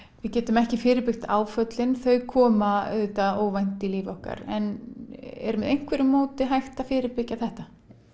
við getum ekki fyrirbyggt áföllin þau koma auðvitað óvænt í líf okkar en er með einhverju móti hægt að fyrirbyggja þetta